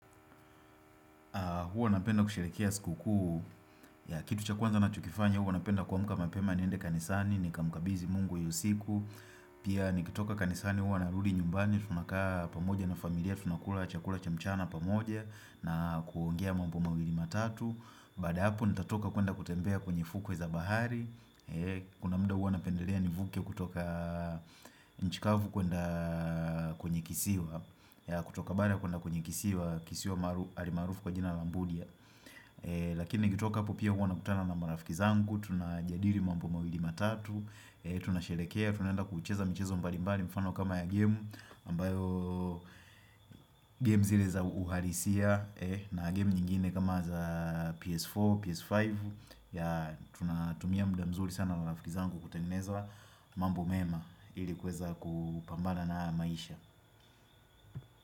Huwa napenda kushirikia siku kuu ya kitu cha kwanza na chokifanya Huwa napenda kuamka mapema niende kanisani ni kamukabizi mungu iyosiku Pia nikitoka kanisani huwa narudi nyumbani Tunakaa pamoja na familia tunakula chakula chamchana pamoja na kuongea mambo mawili matatu Baada ya hapo nitatoka kuenda kutembea kwenye fukwe za bahari Kuna mda huwa napendelea nivuke kutoka nchikavu kwenye kisiwa ya kutoka bara kuna kwenye kisiwa kisiwa maaru alimarufu kwa jina lambudia Lakini nikitoka hapo pia huwa nakutana na marafiki zangu Tuna jadiri mambo mawili matatu Tuna sherehekea, tunaenda kucheza mchezo mbalimbali mfano kama ya game aMbayo Game zile za uhalisia na game nyingine kama za PS4 PS5 ya tunatumia mda mzuri sana na marafiki zangu Kutengneza mambo mema ili kuweza kupambana na haya maisha.